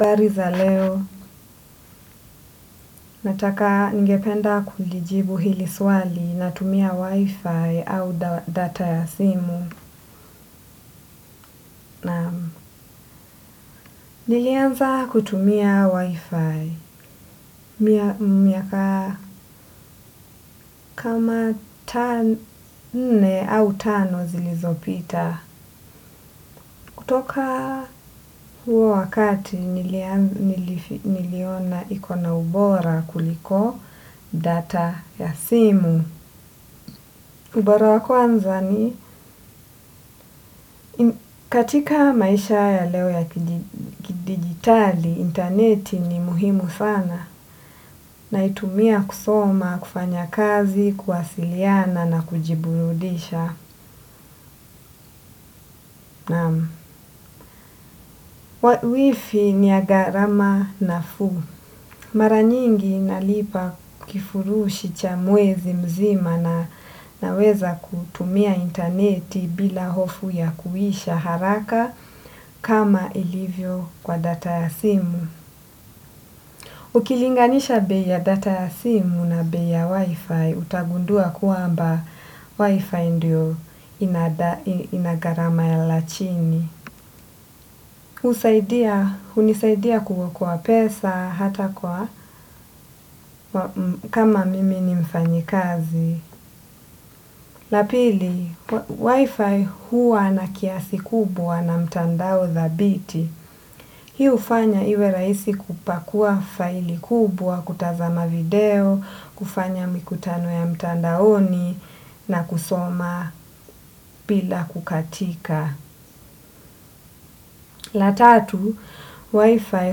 Habari za leo, nataka ningependa kulijibu hili swali na tumia wi-fi au data ya simu. Nilianza kutumia wi-fi. Miaka kama nne au tano zilizopita. Kutoka huo wakati niliona ikona ubora kuliko data ya simu. Ubora wa kwanza ni katika maisha ya leo ya kidigitali, interneti ni muhimu sana naitumia kusoma, kufanya kazi, kuwasiliana na kujiburudisha. Wifi ni ya gharama nafuu. Mara nyingi nalipa kifurushi cha mwezi mzima na naweza kutumia interneti bila hofu ya kuisha haraka kama ilivyo kwa data ya simu. Ukilinganisha bei ya data ya simu na bei ya wifi, utagundua kwamba wifi ndio inagharama la chini. Hunisaidia kuwa kwa pesa hata kwa kama mimi ni mfanyikazi. La pili, wifi huwa na kiasi kubwa na mtandao dhabiti. Hii hufanya iwe rahisi kupakua faili kubwa, kutazama video, kufanya mikutano ya mtandaoni na kusoma bila kukatika. La tatu, wifi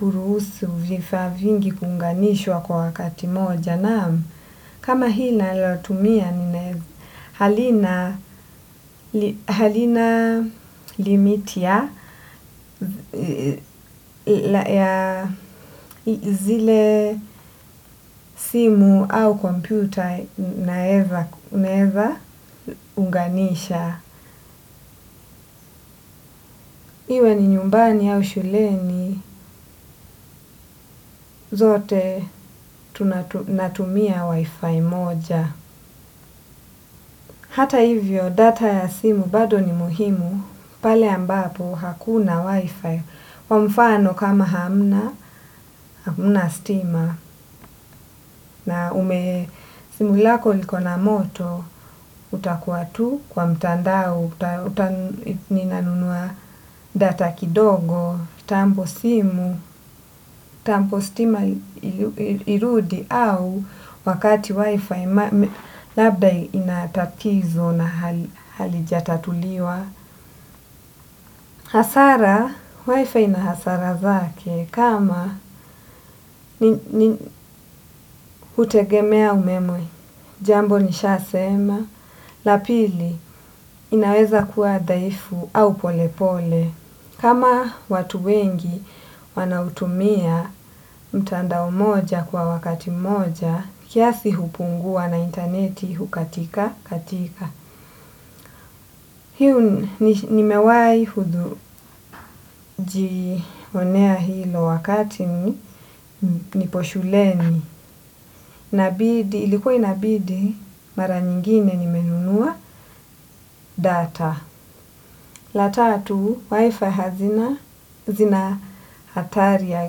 huruhusu vifaa vingi kuunganishwa kwa wakati moja naam. Kama hii ninayoitumia halina limit ya zile simu au kompyuta unaeza unganisha. Iwe ni nyumbani au shuleni zote natumia wi-fi moja. Hata hivyo data ya simu bado ni muhimu pale ambapo hakuna wi-fi kwa mfano kama hamna stima. Na ume, simu lako liko na moto, utakuwa tu kwa mtandao, uta nina nunua data kidogo, kitambo simu, kitambo stima irudi au wakati wifi, labda ina tatizo na halijatatuliwa. Hasara, wifi ina hasara zake kama hutegemea umeme, jambo nisha sema, la pili inaweza kuwa dhaifu au pole pole. Kama watu wengi wanautumia mtandao mmoja kwa wakati mmoja kiasi hupungua na interneti hukatika katika hii nimewahi hudhu jionea hilo wakati nipo shuleni, ilikuwa inabidi mara nyingine nimenunua data. La tatu, wifi hazina zina hatari ya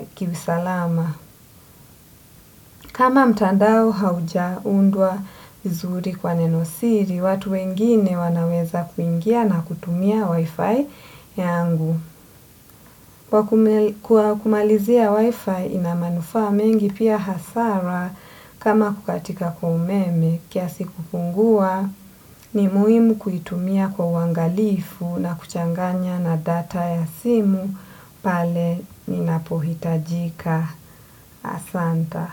kiusalama. Kama mtandao hauja undwa vizuri kwa nenosiri, watu wengine wanaweza kuingia na kutumia wifi yangu. Kwa kumalizia wifi ina manufaa mengi pia hasara kama kukatika kwa umeme kiasi kupungua ni muhimu kuitumia kwa uangalifu na kuchanganya na data ya simu pale ninapohitajika ahsanta.